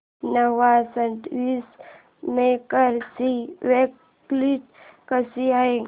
Nova sandwich maker ची quality कशी आहे